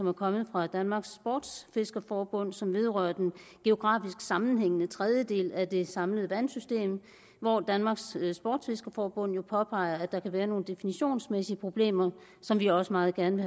er kommet fra danmarks sportsfiskerforbund som vedrører den geografisk sammenhængende tredjedel af det samlede vandsystem hvor danmarks sportsfiskerforbund jo påpeger at der kan være nogle definitionsmæssige problemer som vi også meget gerne